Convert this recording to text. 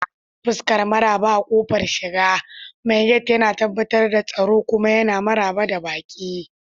Fuskar maraba a ƙofar shiga, mai gate yana tabbatar da tsaro kuma yana maraba da baƙi.